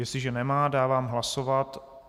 Jestliže nemá, dávám hlasovat.